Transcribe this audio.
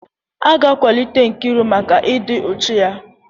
A ga-akwalite Nkiru maka ịdị uchu ya.